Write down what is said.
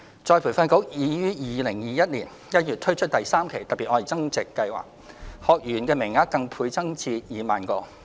再培訓局已於2021年1月推出第三期"特別.愛增值"計劃，學員名額更倍增至2萬個。